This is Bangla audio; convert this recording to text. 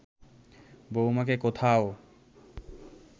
বউমাকে কোথাও